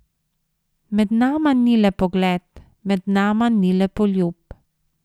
Med nama ni le pogled, med nama ni le poljub.